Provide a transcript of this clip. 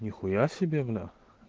нихуя себе бля